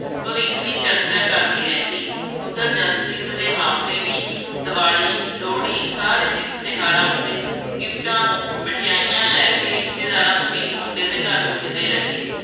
ਭਵਿੱਖ ਦੀ ਚਰਚਾ ਕਰਦੀ ਰਹਿੰਦੀ, ਉੱਧਰ ਜਸਪ੍ਰੀਤ ਦੇ ਮਾਪੇ ਵੀ ਦੀਵਾਲੀ, ਲੋਹੜੀ, ਸਾਰੇ ਤੀਰਥ-ਤਿਉਹਾਰਾਂ ਉੱਤੇ ਗਿਫਟਾਂ, ਮਠਿਆਈਆ ਲੈ ਕੇ ਰਿਸ਼ਤੇਦਾਰਾਂ ਸਮੇਤ ਮੁੰਡੇ ਦੇ ਘਰ ਪੁੱਜਦੇ ਰਹੇ।